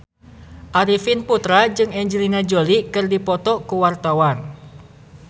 Arifin Putra jeung Angelina Jolie keur dipoto ku wartawan